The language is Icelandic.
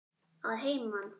Að heiman?